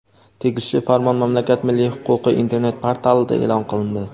Tegishli farmon mamlakat milliy huquqiy Internet portalida e’lon qilindi.